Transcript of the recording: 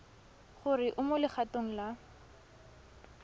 gore o mo legatong la